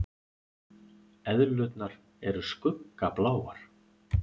Eðlurnar eru skuggabláar.